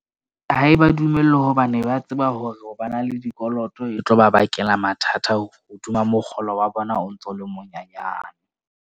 Ha e ba dumellwe hobane ba tseba hore ha ba na le dikoloto, e tlo ba bakela mathata hodima mokgolo wa bona o ntso o le monyenyana.